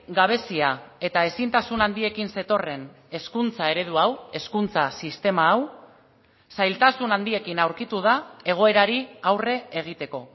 gabezia eta ezintasun handiekin zetorren hezkuntza eredu hau hezkuntza sistema hau zailtasun handiekin aurkitu da egoerari aurre egiteko